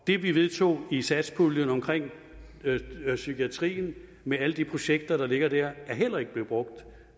det vi vedtog i satspuljen omkring psykiatrien med alle de projekter der ligger der er heller ikke blevet brugt